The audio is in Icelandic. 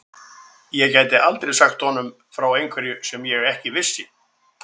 Ég gæti aldrei sagt honum frá einhverju sem ég ekki vissi.